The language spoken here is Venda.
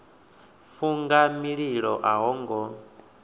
funga mililo a ho ngo